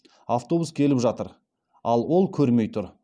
автобус келіп жатыр ал ол көрмей тұр